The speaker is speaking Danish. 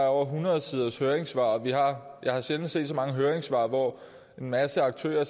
er over hundrede siders høringssvar og jeg har sjældent set så mange høringssvar hvor en masse aktører